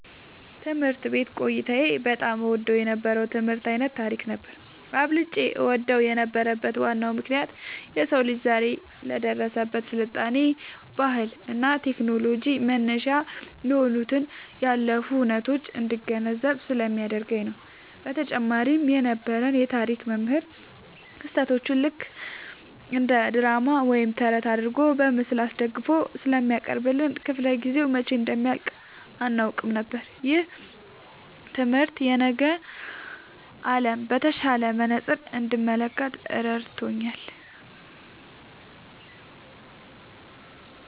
ትምህርት ቤት ቆይታዬ በጣም እወደው የነበረው የትምህርት ዓይነት ታሪክ ነበር። አብልጬ እወደው የነበረበት ዋናው ምክንያት የሰው ልጅ ዛሬ ላይ ለደረሰበት ስልጣኔ፣ ባህልና ቴክኖሎጂ መነሻ የሆኑትን ያለፉ ሁነቶች እንድገነዘብ ስለሚያደርገኝ ነው። በተጨማሪም የነበረን የታሪክ መምህር ክስተቶቹን ልክ እንደ ድራማ ወይም ተረት አድርገው በምስል አስደግፈው ስለሚያቀርቡልን፣ ክፍለ-ጊዜው መቼ እንደሚያልቅ አናውቅም ነበር። ይህ ትምህርት የነገን ዓለም በተሻለ መነጽር እንድመለከት ረድቶኛል።"